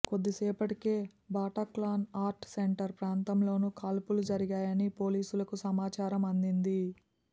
కొద్దిసేపటికే Bataclan art centre ప్రాంతంలోనూ కాల్పులు జరిగాయని పోలీసులకు సమాచారం అందింది